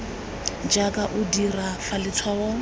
jaaka o dira fa letshwaong